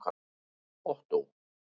Ottó